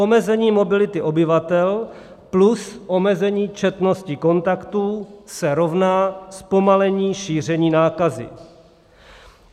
Omezení mobility obyvatel plus omezení četnosti kontaktů se rovná zpomalení šíření nákazy.